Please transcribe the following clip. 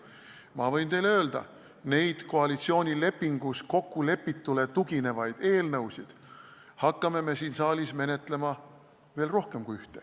Ma võin teile öelda, et neid koalitsioonilepingus kokkulepitule tuginevaid eelnõusid, mida me siin saalis menetlema hakkame, on rohkem kui üks.